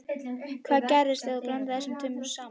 Hvað gerist ef þú blandar þessu tvennu saman?